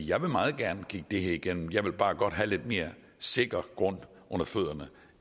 jeg vil meget gerne kigge det her igennem jeg vil bare godt have lidt mere sikker grund under fødderne